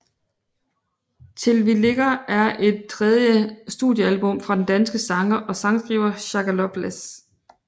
Til vi ligger er det tredje studiealbum fra den danske sanger og sangskriver Shaka Loveless